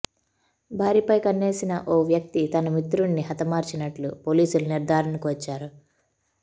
భార్యపై కన్నేసిన ఓ వ్యక్తి తన మిత్రుడిని హతమార్చినట్లు పోలీసులు నిర్దారణకు వచ్చారు